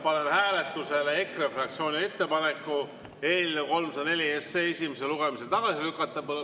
Panen hääletusele EKRE fraktsiooni ettepaneku eelnõu 304 esimesel lugemisel tagasi lükata.